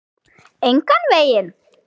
Engan veginn.